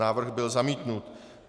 Návrh byl zamítnut.